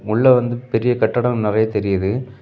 உள்ள வந்து பெரிய கட்டிடம் நறைய தெரியுது.